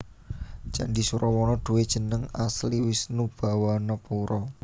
Candhi Surawana duwé jeneng asli Wishnubhawanapura